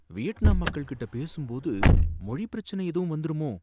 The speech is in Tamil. வியட்நாம் மக்கள் கிட்ட பேசும் போது மொழிப் பிரச்சனை எதுவும் வந்துருமோ!